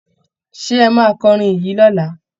Ṣé ẹ máa kọrin yìí lọ́la?